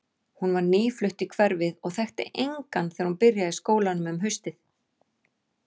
Hún var nýflutt í hverfið og þekkti engan þegar hún byrjaði í skólanum um haustið.